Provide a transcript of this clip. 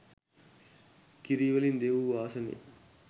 කිරි වලින් දෙවූ ආසනය